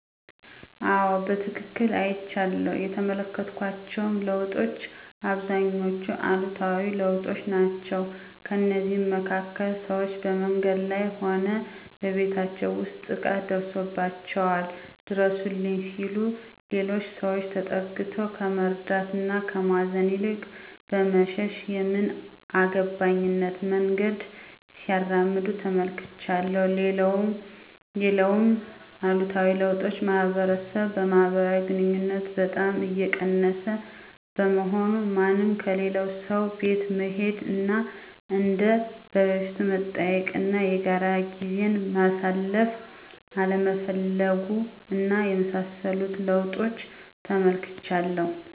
አዎ በትክክል አይቻለሁ። የተመለከትኳቸውም ለውጦች አብዛኞቹ አሉታዊ ለውጦች ናቸው። ከእነዚህም መካከል፦ ሰዎች በመንገድ ላይ ሆነ በቤታቸው ውስጥ ጥቃት ደርሶባቸዋል ድረሱልኝ ሲሉ ሌሎች ሰዎች ተጠግተው ከመርዳት እና ከማገዝ ይልቅ በመሸሽ የምን አገባኝነት መንገድን ሲያራምዱ ተመልክቻለሁ። ሌላውም አሉታዊ ለውጥ ማህበረሰብ ማህበራዊ ግንኙነቶችን በጣም እየቀነሰ በመሆኑ፤ ማንም ከሌላው ሰው ቤት መሄድ እና እንደ በፊቱ መጠያየቅ እና የጋራ ጊዜን ማሳለፍ አለመፈለጉ እና የመሳሰሉትን ለውጦች ተመልክቻለሁ።